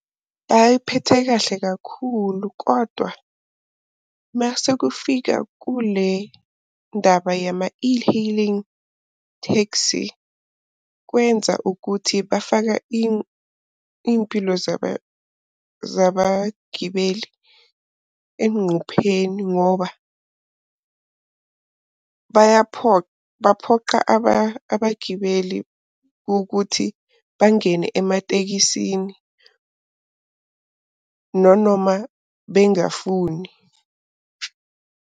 Bayiphethe kahle kakhulu kodwa masekufika kule ndaba yama e-hailing taxi kwenza ukuthi bafaka iy'mpilo zabagibeli enqupheni ngoba baphoqa abagibeli ukuthi bangene ematekisini, nonoma bengafuni.